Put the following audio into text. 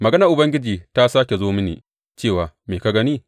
Maganar Ubangiji ta sāke zo mini cewa, Me ka gani?